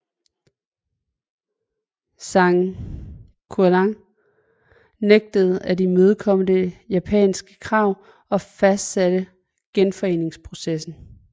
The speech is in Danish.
Zhang Xueliang nægtede at imødekomme det japanske krav og fortsatte genforeningsprocessen